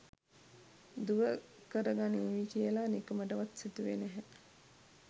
දුව කරගනීවි කියලා නිකමටවත් සිතුවේ නැහැ.